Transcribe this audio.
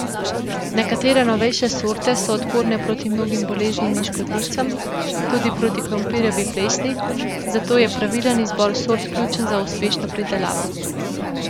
Nekatere novejše sorte so odporne proti mnogim boleznim in škodljivcem, tudi proti krompirjevi plesni, zato je pravilen izbor sort ključen za uspešno pridelavo.